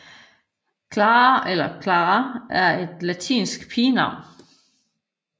Clara eller Klara er et latinsk pigenavn